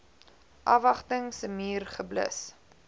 afwagting summier geblus